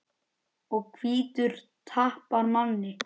Og hvítur tapar manni.